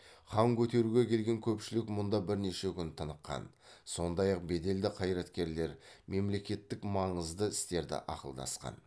хан көтеруге келген көпшілік мұнда бірнеше күн тыныққан сондай ақ беделді қайраткерлер мемлекеттік маңызды істерді ақылдасқан